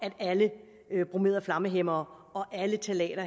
at alle bromerede flammehæmmere og alle ftalater